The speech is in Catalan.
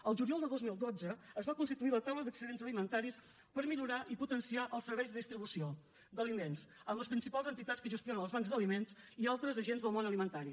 el juliol de dos mil dotze es va constituir la taula d’excedents alimentaris per millorar i potenciar els serveis de distribució d’aliments amb les principals entitats que gestionen els bancs d’aliments i altres agents del món alimentari